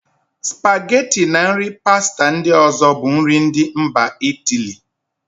Spageti na nri pasta ndị ọ̀zọ́ bụ nri ndị mba Itiili.